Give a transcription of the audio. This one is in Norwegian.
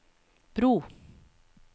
bro